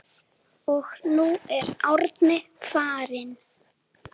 Og nú er Árni farinn.